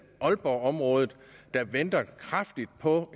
aalborgområdet der venter kraftigt på